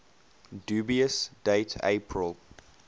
dubious date april